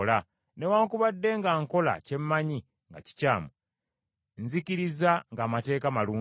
Newaakubadde nga nkola kye mmanyi nga kikyamu, nzikiriza ng’amateeka malungi.